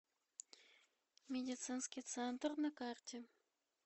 медицинский центр на карте